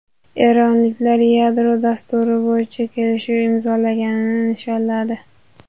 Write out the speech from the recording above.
Eronliklar yadro dasturi bo‘yicha kelishuv imzolanganini nishonladi.